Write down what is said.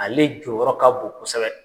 Ale jɔyɔrɔ ka bon kosɛbɛ.